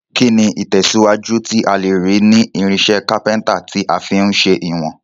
Kíni ìtẹ̀síwájú tí a lèrí ni irinsẹ́ Kápẹ́ńtà ti a fi n se ìwòn